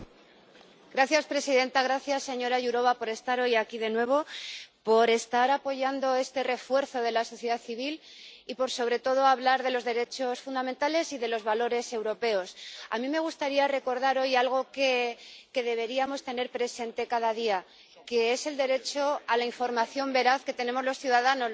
Señora presidenta, gracias señora Jourová por estar hoy aquí de nuevo, por estar apoyando este refuerzo de la sociedad civil y, sobre todo, por hablar de los derechos fundamentales y de los valores europeos. A mí me gustaría recordar hoy algo que deberíamos tener presente cada día, que es el derecho a la información veraz que tenemos los ciudadanos